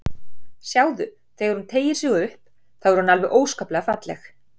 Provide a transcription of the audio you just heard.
Sjáðu, þegar hún teygir sig upp, þá er hún alveg óskaplega falleg.